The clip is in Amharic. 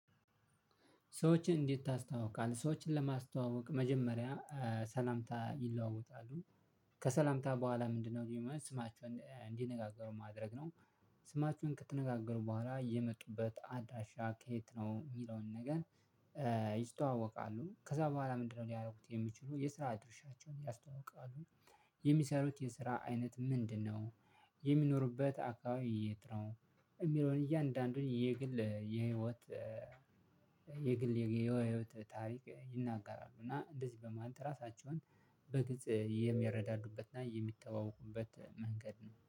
ሰዎችን እንዴት ታስታውቃለህ? ሰዎችን ለማስተዋወቅ መጀመሪያ ሰላምታ ይለዋወጣሉ። ከሰላምታ በኋላ ምንድነው ስማቸውን እንዲነጋገሩ ማድረግ ነው። ስማቸውን ከተነጋገሩ በኋላ የመጡበት አድራሻ ከየት ነው እሚለውን ነገር። ይስተዋወቃሉ ከዛ በኋላ ምንድነው ሊያደርጉት የሚችሉ የስራ አድርሻቸውን ያስተውቃሉ። የሚሰሩት የስራ አይነት ምንድነው? የሚኖሩበት አካባቢ የት ነው? እሚለውን እያንዳንዱን የግል የህይወት የግል የህይወት ታሪክ ይናገራሉ። እና እንደዚህ በማለት ራሳቸውን በግጽ የሚያረዳዱበትና የሚተዋወቁበት መንገድ ነው